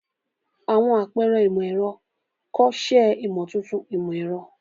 Àwọn àpẹrẹ imọ-ẹrọ, kọ, ṣe imotuntun imọ-ẹrọ.